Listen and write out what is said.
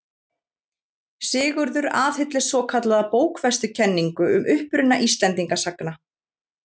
Sigurður aðhylltist svokallaða bókfestukenningu um uppruna Íslendinga sagna.